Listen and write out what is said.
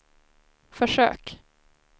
försök